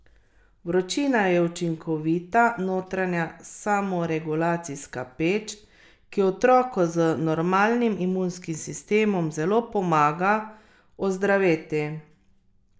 Vročina je učinkovita notranja samoregulacijska peč, ki otroku z normalnim imunskim sistemom zelo pomaga ozdraveti.